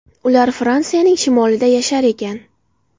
Ular Fransiyaning shimolida yashar ekan.